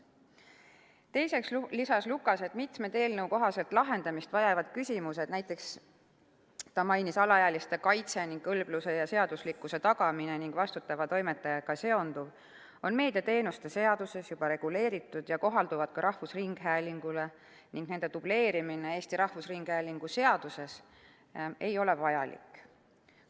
Teiseks lisas Lukas, et mitmed eelnõu kohaselt lahendamist vajavad küsimused, näiteks mainis ta alaealiste kaitset, kõlbluse ja seaduslikkuse tagamist ning vastutava toimetajaga seonduvat, on meediateenuste seaduses juba reguleeritud ja kohalduvad ka rahvusringhäälingule ning nende dubleerimine Eesti Rahvusringhäälingu seaduses ei ole vajalik.